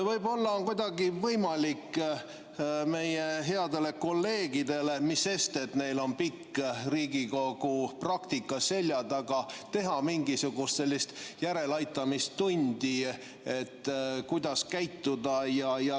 Võib-olla on kuidagi võimalik meie headele kolleegidele – mis sest, et neil on pikk Riigikogu praktika seljataga – teha mingisugust sellist järeleaitamistundi, kuidas käituda.